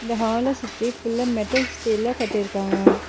இந்த ஹால சுத்தி ஃபுல்லா மெட்டல் ஸ்டீல்ல கட்டிருக்காவ.